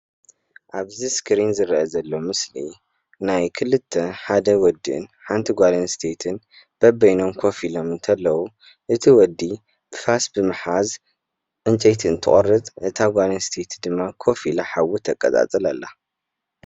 እዚ ምስሊ ብሳዕሪ ዝተሰረሐ መንበሪ ገዛ ጎጆ እንትበሃል ክልተ ሰብኣይን ሰበይትን ኮፍ ኢሎም ይረኣዩ።